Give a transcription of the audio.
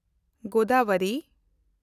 Godavari